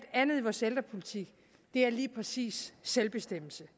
andet i vores ældrepolitik lige præcis selvbestemmelse